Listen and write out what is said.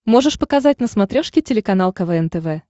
можешь показать на смотрешке телеканал квн тв